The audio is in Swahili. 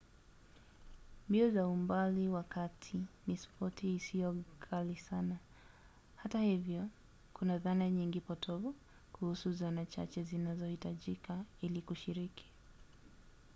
mbio za umbali wa kati ni spoti isiyo ghali sana; hata hivyo kuna dhana nyingi potovu kuhusu zana chache zinazohitajika ili kushiriki